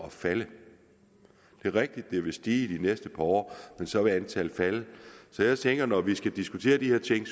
at falde det er rigtigt at det vil stige de næste par år men så vil antallet falde så jeg tænker når vi skal diskutere de her ting